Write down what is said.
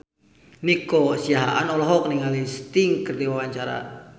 Nico Siahaan olohok ningali Sting keur diwawancara